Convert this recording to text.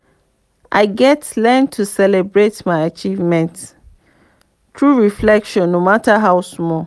i gats learn to celebrate my achievements through reflection no matter how small.